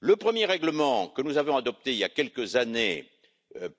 Le premier règlement que nous avions adopté il y a quelques années